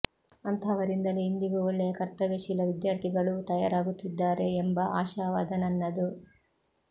ಅಂತಹವರಿಂದಲೇ ಇಂದಿಗೂ ಒಳ್ಳೆಯ ಕರ್ತವ್ಯಶೀಲ ವಿದ್ಯಾರ್ಥಿಗಳೂ ತಯಾರಾಗುತ್ತಿದ್ದಾರೆ ಎಂಬ ಆಶಾವಾದ ನನ್ನದು